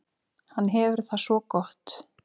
Hann hefur það svo gott.